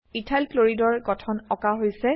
ethyl chloride এৰ গঠন আঁকা হৈছে